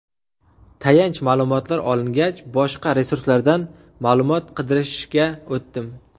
Tayanch ma’lumotlar olingach, boshqa resurslardan ma’lumot qidirishga o‘tdim.